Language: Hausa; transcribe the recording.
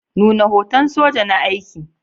Nuna hoton soja na aiki.